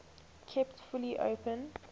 kept fully open